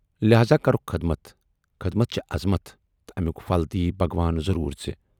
لہذا کروُکھ خٔدمت۔ خٔدمت چھے ازمتھ تہٕ امٮُ۪ک پھل دِیی بھگوان ضروٗر ژیے۔